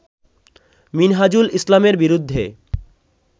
মিনহাজুল ইসলামের বিরুদ্ধে